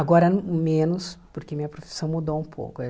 Agora menos, porque minha profissão mudou um pouco.